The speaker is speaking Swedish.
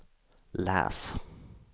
läs